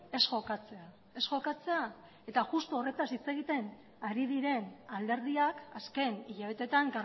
ez jokatzen justu horretaz hitz egiten ari diren alderdiak azken hilabeteetan